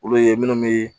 Olu ye minnu bɛ